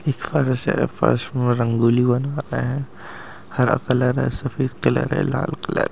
ये फर्स है फर्स में रंगोली बना रहें है हरा कलर है सफेद कलर है लाल कलर है।